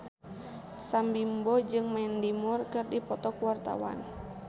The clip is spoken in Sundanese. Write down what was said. Sam Bimbo jeung Mandy Moore keur dipoto ku wartawan